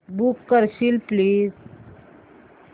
book करशील please